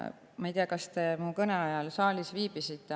Ma ei tea, kas te mu kõne ajal saalis viibisite.